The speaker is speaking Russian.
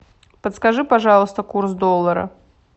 подскажи пожалуйста курс доллара